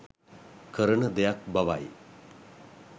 කරන දෙයක් බවයි